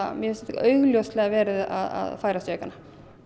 mér finnst þetta augljóslega vera að færast í aukana